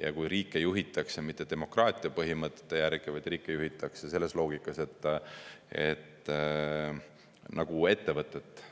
ja kui riike juhitakse mitte demokraatia põhimõtete järgi, vaid riike juhitakse selles loogikas nagu ettevõtet.